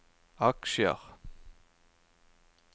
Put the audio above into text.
aksjer